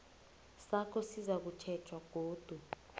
sakho sizakutjhejwa godu